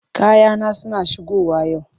Kayana suna shigowa yau.